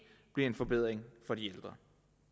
bliver en forbedring for de ældre